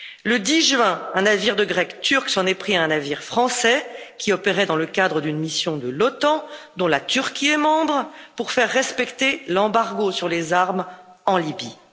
Le 10 juin, un navire de guerre turc s'en est pris à un navire français qui opérait dans le cadre d'une mission de l'OTAN, dont la Turquie est membre, pour faire respecter l'embargo sur les armes en Libye.